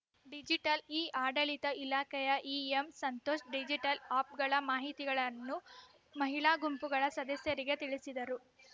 digital ಇಆಡಳಿತ ಇಲಾಖೆಯ EM Santosh digital ಅಪ್‌ಗಳ ಮಾಹಿತಿಗಳನ್ನು ಮಹಿಳಾ ಗುಂಪುಗಳ ಸದಸ್ಯರಿಗೆ ತಿಳಿಸಿದರು